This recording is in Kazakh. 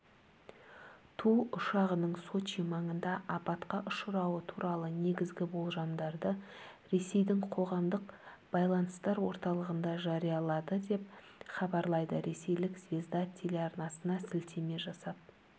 ту ұшағының сочи маңында апатқа ұшырауы туралы негізгі болжамдарды ресейдің қоғамдық байланыстар орталығында жариялады деп хабарлайды ресейлік звезда телеарнасына сілтеме жасап